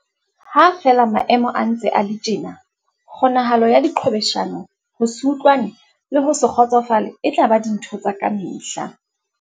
Ha feela maemo a ntse a le tjena, kgonahalo ya diqhwebeshano, ho se utlwane le ho se kgotsofale e tla ba dintho tsa kamehla.